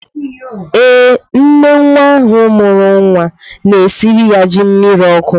Ee, nne nwa ahụ mụrụ nwa na-esiri ya ji mmiri ọkụ.